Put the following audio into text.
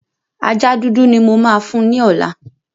Ajá dúdú ni mo máa fún ní ọ̀la.